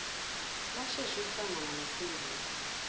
lashesha ukuhlangana nophenduka